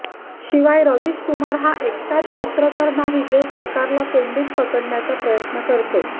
शिवाय रविश कुमार हा एकटाच पत्रकार नाही जो सरकारला कोंडीत पकडण्याचा प्रयत्न करतो